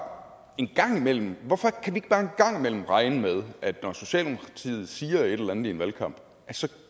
en gang imellem gang imellem regne med at når socialdemokratiet siger et eller andet i en valgkamp så